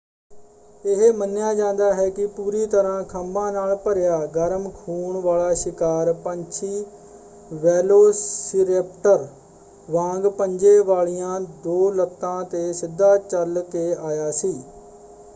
ਇਹ ਮੰਨਿਆ ਜਾਂਦਾ ਹੈ ਕਿ ਪੂਰੀ ਤਰ੍ਹਾਂ ਖੰਭਾਂ ਨਾਲ ਭਰਿਆ ਗਰਮ ਖੂਨ ਵਾਲਾ ਸ਼ਿਕਾਰ ਪੰਛੀ ਵੈਲੋਸੀਰੈਪਟਰ ਵਾਂਗ ਪੰਜੇ ਵਾਲੀਆਂ ਦੋ ਲੱਤਾਂ ‘ਤੇ ਸਿੱਧਾ ਚੱਲ ਕੇ ਆਇਆ ਸੀ।